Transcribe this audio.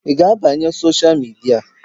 Ị ga-abanye sosha midia?